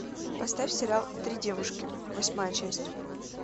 поставь сериал три девушки восьмая часть